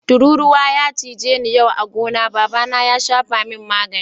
Tururuwa ya cije ni yau a'gona, baba na ya safa mun magani.